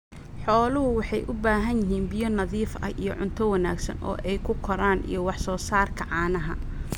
Xooluhu waxay u baahan yihiin biyo nadiif ah iyo cunto wanaagsan oo ay ku koraan iyo wax soo saarka caanaha.